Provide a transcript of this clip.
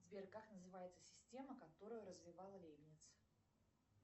сбер как называется система которую развивал лейбниц